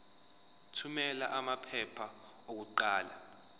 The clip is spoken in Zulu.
thumela amaphepha okuqala